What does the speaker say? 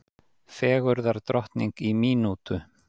Fegurðardrottning í mínútu